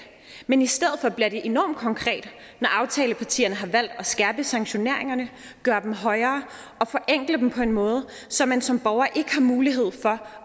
men i stedet for bliver det enormt konkret når aftalepartierne har valgt at skærpe sanktioneringerne gøre dem højere og forenkle dem på en måde så man som borger ikke har mulighed for